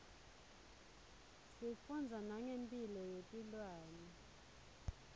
sifundza nangemphilo yetilwane